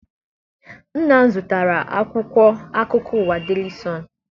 Nna m zụtara akwụkwọ akụkọ ụwa deli sọọnụ.